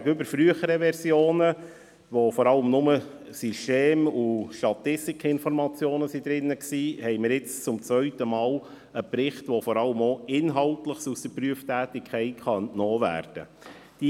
Gegenüber früheren Versionen, die vor allem System- und Statistikinformationen enthielten, haben wir jetzt einen Bericht, dem vermehrt Inhaltliches aus der Prüftätigkeit entnommen werden kann.